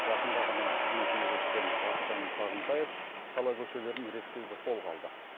жақында ғана қызметіне кіріскен бақытжан сағынтаев қала көшелерін реттеуді қолға алды